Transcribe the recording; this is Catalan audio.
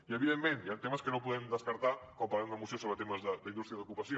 i evidentment hi han temes que no podem descartar quan parlem de moció sobre temes d’indústria i d’ocupació